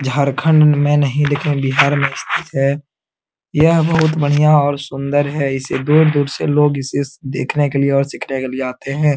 झारखण्ड में नहीं लेकिन बिहार में स्थित है यह बहुत बढ़ियाँ और सुन्दर है इसे दूर-दूर से लोग इसे देखने के लिए और सीखने के लिए आते है ।